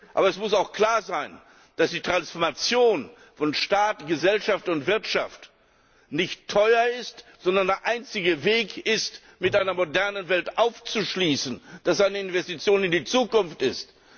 Aber es muss auch klar sein, dass die Transformation von Staat, Gesellschaft und Wirtschaft nicht teuer ist, sondern der einzige Weg ist, mit einer modernen Welt aufzuschließen, dass das eine Investition in die Zukunft ist.